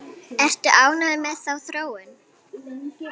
Ertu ánægður með þá þróun?